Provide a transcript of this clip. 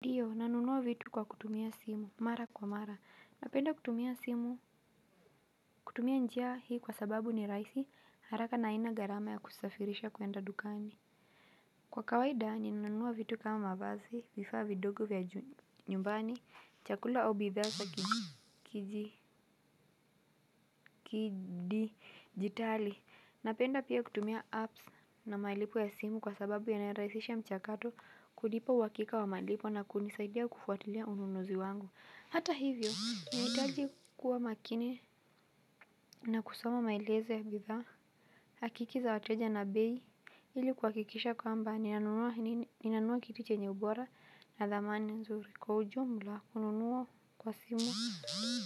Ndio, nanunuwa vitu kwa kutumia simu, mara kwa mara, napenda kutumia simu, kutumia njia hii kwa sababu ni rahisi, haraka na haina gharama ya kusafirisha kuenda dukani. Kwa kawaida ninanunua vitu kama mavazi, vifaa vidogo vya nyumbani, chakula au bidhaa za kidijitali, napenda pia kutumia apps na malipo ya simu kwa sababu yanarahisisha mchakato, kulipa uhakika wa malipo na kunisaidia kufuatilia ununuzi wangu. Hata hivyo, nahitaji kuwa makini na kusoma mailezo ya bidhaa, hakiki za wateja na bei, ili kuhakikisha kwamba, ninanunua kitu chenye ubora na dhamani nzuri. Kwa ujumla, kununua kwa simu,